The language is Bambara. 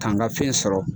K'an ka fɛn sɔrɔ